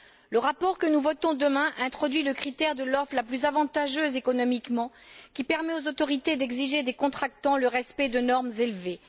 Le rapport que nous voterons demain introduit le critère de l'offre la plus avantageuse économiquement, qui permet aux autorités d'exiger des contractants le respect de normes élevées.